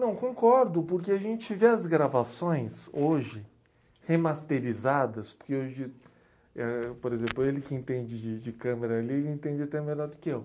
Não, concordo, porque a gente vê as gravações hoje remasterizadas, porque hoje, por exemplo, ele que entende de de câmara, ele entende até melhor do que eu.